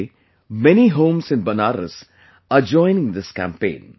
Today many homes inBenaras are joining this campaign